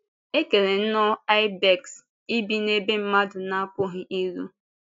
E kere nnọọ ìbèks ibi n’ebe mmadụ na-apụghị iru.